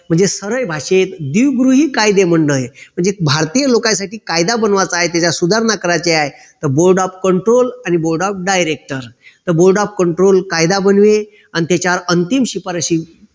म्हणजे सरळ भाषेत द्विगृही कायदेमंडळ म्हणजे भारतीय लोकांसाठी कायदा बनवायचा आहे त्याच्यात सुधारणा करायची आहे तर board of control आणि board of director तर board of control कायदा बनवे अन त्याच्यावर अंतिम शिपारशी